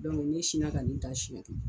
ne sinna ka nin taa siyɛn kelen.